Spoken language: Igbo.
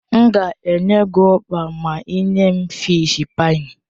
M ga-enye gị ukpa ma ị nye m fịsh páyi.